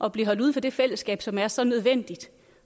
at blive holdt uden for det fællesskab som er så nødvendigt